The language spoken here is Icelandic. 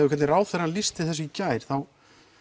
hvernig ráðherrann lýsti þessu í gær þá